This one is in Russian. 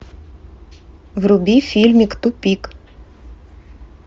вруби фильмик тупик